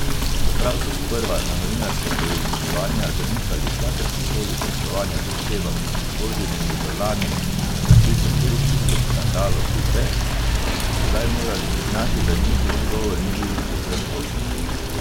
Čeprav so sprva na novinarska poizvedovanja zanikali kakršnokoli poslovanje z osebami, obtoženimi v lani razkritem korupcijskem škandalu Fife, so sedaj morali priznati, da njihov odgovor ni bil povsem točen.